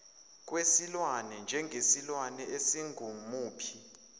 kwesilwane njengesilwane esingumuphi